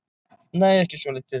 Nei, ekki svolítið.